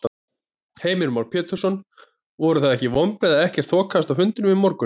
Heimir Már Pétursson: Voru það vonbrigði að ekkert þokaðist á fundinum í morgun?